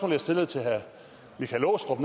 jeg stillede til herre michael aastrup